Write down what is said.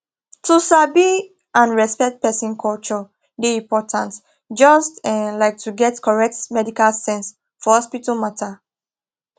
to sabi and respect person culture dey important just um like to get correct medical sense for hospital matter